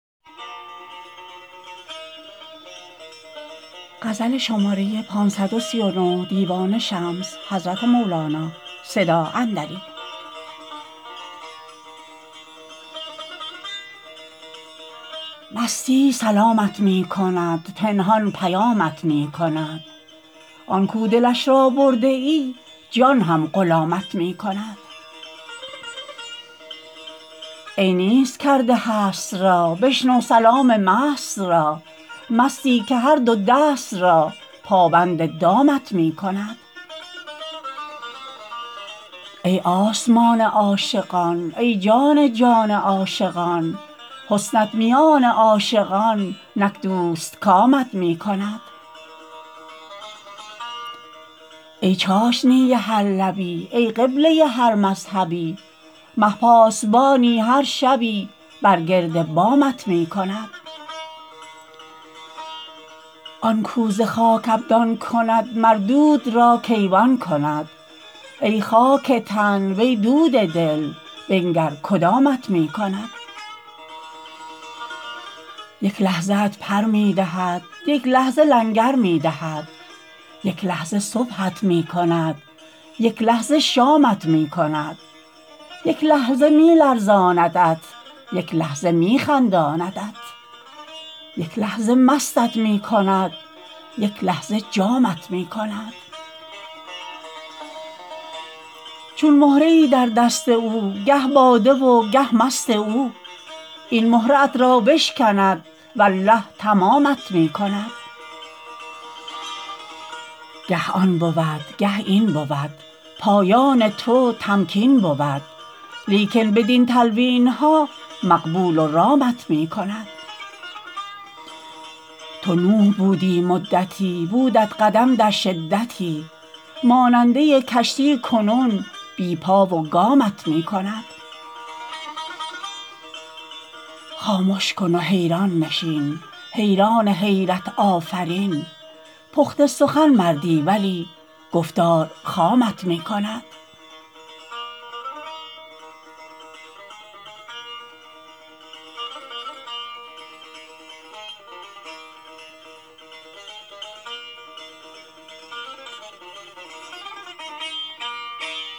مستی سلامت می کند پنهان پیامت می کند آن کاو دلش را برده ای جان هم غلامت می کند ای نیست کرده هست را بشنو سلام مست را مستی که هر دو دست را پابند دامت می کند ای آسمان عاشقان ای جان جان عاشقان حسنت میان عاشقان نک دوستکامت می کند ای چاشنی هر لبی ای قبله هر مذهبی مه پاسبانی هر شبی بر گرد بامت می کند آن کاو ز خاک ابدان کند مر دود را کیوان کند ای خاک تن وی دود دل بنگر کدامت می کند یک لحظه ات پر می دهد یک لحظه لنگر می دهد یک لحظه صبحت می کند یک لحظه شامت می کند یک لحظه می لرزاندت یک لحظه می خنداندت یک لحظه مستت می کند یک لحظه جامت می کند چون مهره ای در دست او گه باده و گه مست او این مهره ات را بشکند والله تمامت می کند گه آن بود گه این بود پایان تو تمکین بود لیکن بدین تلوین ها مقبول و رامت می کند تو نوح بودی مدتی بودت قدم در شدتی ماننده کشتی کنون بی پا و گامت می کند خامش کن و حیران نشین حیران حیرت آفرین پخته سخن مردی ولی گفتار خامت می کند